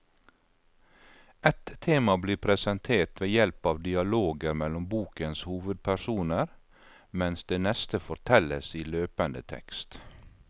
Ett tema blir presentert ved hjelp av dialoger mellom bokens hovedpersoner, mens det neste fortelles i løpende tekst.